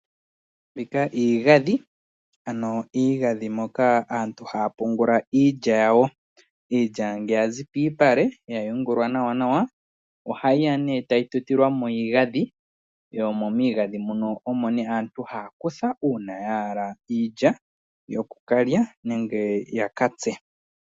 Mbika iigadhi, ano iigadhi moka aantu haya oungula iikya yawo. iilta ngele ya zi oiipale ya yungulwa nawa nanwaoha yiya nee tayi mpimpilwa moshigadhi , yo miigadhi mono omo nee aantu haya kutha uuna ya hala iilya yoku kalya nenge ya katse.